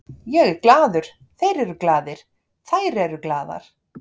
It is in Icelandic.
Ég er glaður, þeir eru glaðir, þær eru glaðar.